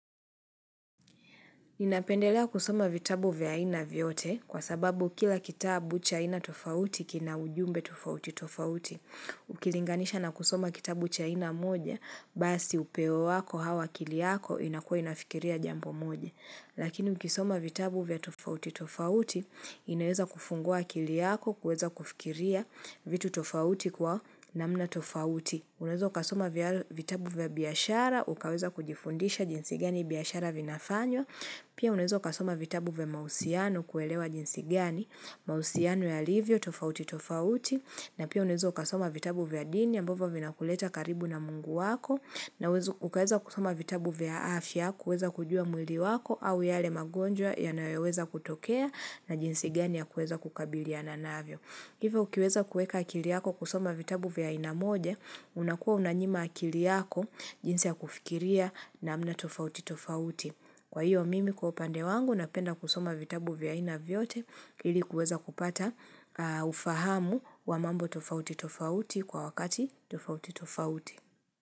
Ninapendelea kusoma vitabu vya aina vyote kwa sababu kila kitabu chaina tofauti kina ujumbe tofauti tofauti. Ukilinganisha na kusoma kitabu chaina moja basi upeo wako hawa kili yako inakua inafikiria jambo moja. Lakini ukisoma vitabu vya tofauti tofauti inaweza kufungua kili yako kuweza kufikiria vitu tofauti kwa namna tofauti. Unaweza kusoma vitabu vya biashara, ukaweza kujifundisha jinsi gani biashara vinafanywa, pia unezo kusoma vitabu vya mahusiano kuelewa jinsi gani, mahusiano ya livyo, tofauti tofauti, na pia unezo kasoma vitabu vya dini ambovyo vinakuleta karibu na mungu wako, na ukaweza kusoma vitabu vya afya kuweza kujua mwili wako au yale magonjwa ya naweweza kutokea na jinsi gani ya kuweza kukabilia nanavyo. Hifo ukiweza kueka akili yako kusoma vitabu vya ina moja, unakuwa unanyima akili yako jinsi ya kufikiria na mna tofauti tofauti. Kwa hiyo mimi kwa upande wangu napenda kusoma vitabu vya ina vyote kili kuweza kupata ufahamu wa mambo tofauti tofauti kwa wakati tofauti tofauti.